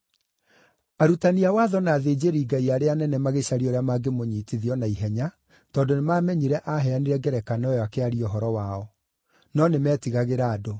Arutani a watho na athĩnjĩri-Ngai arĩa anene magĩcaria ũrĩa mangĩmũnyiitithia o na ihenya tondũ nĩmamenyire aaheanire ngerekano ĩyo akĩaria ũhoro wao. No nĩmetigagĩra andũ.